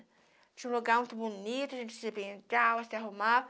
Tinha um lugar muito bonito, a gente se beijava, se arrumava.